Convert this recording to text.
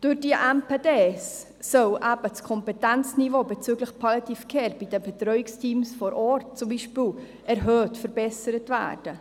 Durch die MPD soll das Kompetenzniveau bezüglich Palliative Care bei den Betreuungsteams vor Ort beispielsweise verbessert werden.